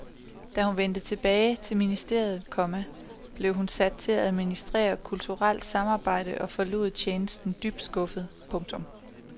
Da hun vendte tilbage til ministeriet, komma blev hun sat til at administrere kulturelt samarbejde og forlod tjenesten dybt skuffet. punktum